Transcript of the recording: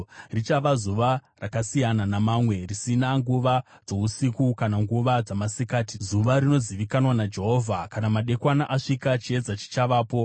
Richava zuva rakasiyana namamwe, risina nguva dzousiku kana nguva dzamasikati, zuva rinozivikanwa naJehovha. Kana madekwana asvika, chiedza chichavapo.